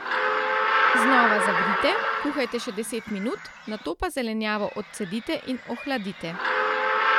Znova zavrite, kuhajte še deset minut, nato pa zelenjavo odcedite in ohladite.